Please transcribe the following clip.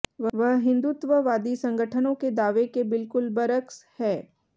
वह हिंदुत्ववादी संगठनों के दावे के बिल्कुल बरअक्स है